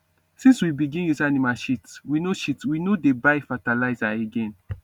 since we begin use animal shit we no shit we no dey buy fertilizer again